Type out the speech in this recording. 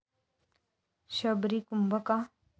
शबरी कुंभ का?